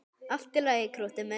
Allt í lagi, krúttið mitt!